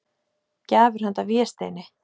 Gjafir handa Vésteini.